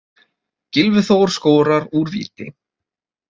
Gylfi Þór skorar úr víti.